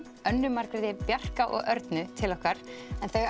Önnu Margréti Bjarka og Örnu til okkar en þau